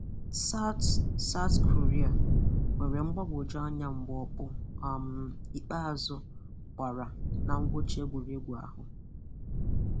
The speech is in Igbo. South South Korea nwere mgbagwoju anya mgbe ọkpọ um ikpeazụ gbara na ngwụcha egwuregwu ahụ.